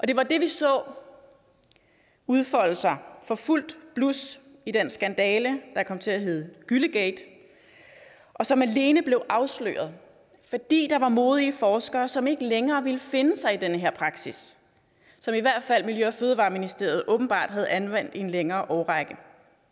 det var det vi så udfolde sig for fuldt blus i den skandale der kom til at hedde gyllegate og som alene blev afsløret fordi der var modige forskere som ikke længere ville finde sig i den her praksis som i hvert fald miljø og fødevareministeriet åbenbart havde anvendt i en længere årrække